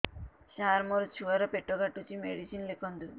ସାର ମୋର ଛୁଆ ର ପେଟ କାଟୁଚି ମେଡିସିନ ଲେଖନ୍ତୁ